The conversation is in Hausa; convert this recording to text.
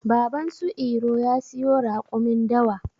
Baban su iro ya siyo raƙumin dawa.